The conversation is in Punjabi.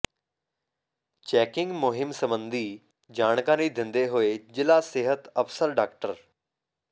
ਚੈਕਿੰਗ ਮੁਹਿੰਮ ਸੰਬੰਧੀ ਜਾਣਕਾਰੀ ਦਿੰਦੇ ਹੋਏ ਜਿਲ੍ਹਾ ਸਿਹਤ ਅਫਸਰ ਡਾ